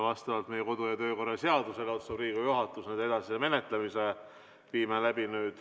Vastavalt meie kodu- ja töökorra seadusele otsustab Riigikogu juhatus nende edasise menetlemise.